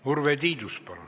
Urve Tiidus, palun!